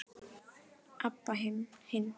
Abba hin.